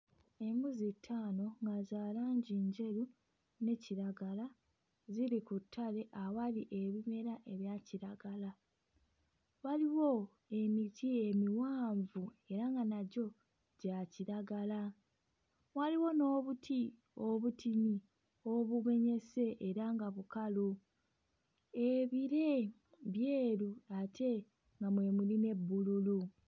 Embuzi ttaano nga za langi njeru ne kiragala ziri ku ttale awali ebimera ebya kiragala. Waliwo emiti emiwanvu era nga nagyo gya kiragala waliwo n'obuti obutini obumenyese era nga bukalu ebire byeru ate nga mwe muli ne bbululu.